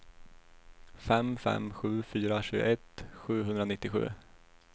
fem fem sju fyra tjugoett sjuhundranittiosju